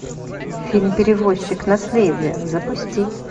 фильм перевозчик наследие запусти